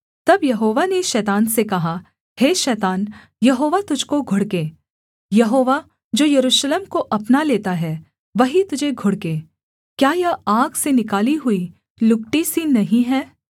तब यहोवा ने शैतान से कहा हे शैतान यहोवा तुझको घुड़के यहोवा जो यरूशलेम को अपना लेता है वही तुझे घुड़के क्या यह आग से निकाली हुई लुकटी सी नहीं है